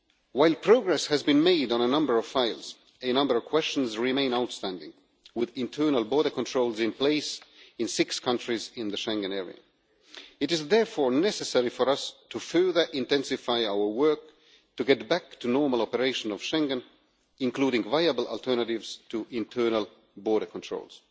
While progress has been made on a number of files, a number of questions remain outstanding, with internal border controls in place in six countries in the Schengen area. It is therefore necessary for us to further intensify our work to get back to normal operation of Schengen, including viable alternatives to internal border controls.